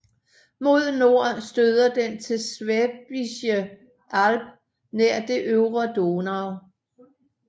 Mod nord støder den til Schwäbische Alb nær det øvre Donau